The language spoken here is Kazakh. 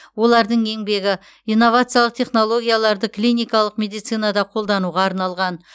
олардың еңбегі инновациялық технологияларды клиникалық медицинада қолдануға арналған